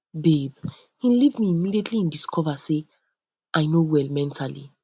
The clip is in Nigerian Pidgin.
babe he leave me immediately he discover say i um no well mentally